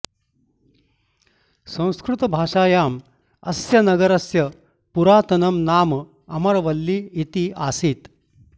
संस्कृतभाषायाम् अस्य नगरस्य पुरातनं नाम अमरवल्ली इति आसीत्